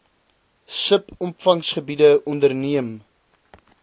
sub opvanggebiede onderneem